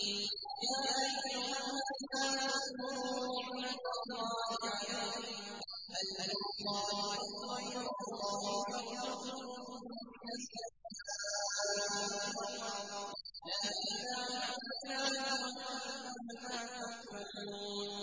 يَا أَيُّهَا النَّاسُ اذْكُرُوا نِعْمَتَ اللَّهِ عَلَيْكُمْ ۚ هَلْ مِنْ خَالِقٍ غَيْرُ اللَّهِ يَرْزُقُكُم مِّنَ السَّمَاءِ وَالْأَرْضِ ۚ لَا إِلَٰهَ إِلَّا هُوَ ۖ فَأَنَّىٰ تُؤْفَكُونَ